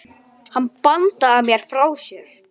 Hann verður þungur.